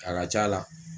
A ka ca la